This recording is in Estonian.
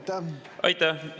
Aitäh!